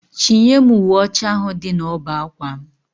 Chinye m uwe ocha ahụ dị na ọbá ákwà m